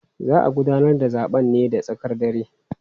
Za a gudanar da zaben ne da tsakar dare.